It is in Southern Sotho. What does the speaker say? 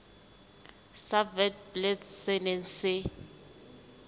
sa witblits se neng se